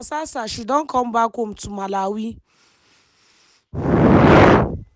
as for masasa she don come back home to malawi.